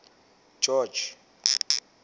george